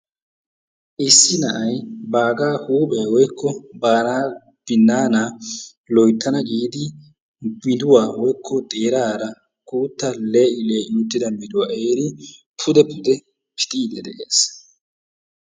Issi na'ay baagaa huuphphiyaa woykko baagaa binnaana loyttana giidi miiduwaa woykko xeerara guuttaa le'i le'i uttida miiduwaa ehiidi pude pude pixiidi de'ees.